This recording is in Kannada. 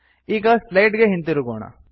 ಈಗ ಸ್ಲೈಡ್ ಗೆ ಹಿಂತಿರುಗೋಣ